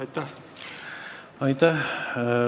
Aitäh!